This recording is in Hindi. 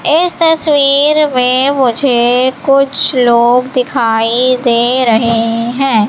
इस तस्वीर में मुझे कुछ लोग दिखाई दे रहे है।